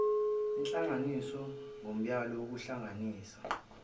lihlanganiswe ngomyalo wokuhlanganisa